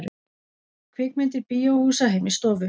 Kvikmyndir bíóhúsa heim í stofu